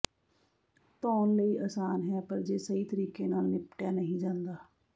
ਧੋਣ ਲਈ ਆਸਾਨ ਹੈ ਪਰ ਜੇ ਸਹੀ ਤਰੀਕੇ ਨਾਲ ਨਿਪਟਿਆ ਨਹੀਂ ਜਾਂਦਾ